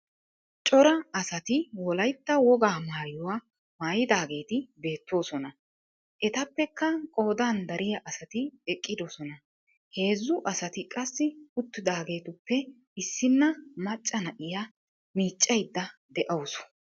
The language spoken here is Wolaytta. Cora asati wolayitta wogaa maayuwaa maayidaageeti beettoosona. Etappekka qoodan dariyaa asati eqidosona. Heezzu asati qassi uttidageetuppe issinna macca na"iyaa miiccaydda de"awusu.